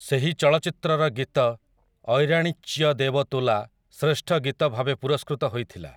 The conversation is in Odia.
ସେହି ଚଳଚ୍ଚିତ୍ରର ଗୀତ 'ଐରାଣିଚ୍ୟ ଦେବ ତୁଲା' ଶ୍ରେଷ୍ଠ ଗୀତ ଭାବେ ପୁରସ୍କୃତ ହୋଇଥିଲା ।